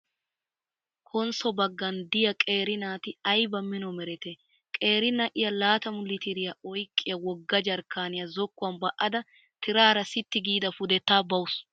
Konsso baggan diyaa qeeri naati ayiba mino meretee? Qeeri na'iyaa laatamu litiriyaa oyiqqiyaa wogga jarkkaaniyaa zokkuwan ba'ada tiraara sitti giida pudettaa bawusu.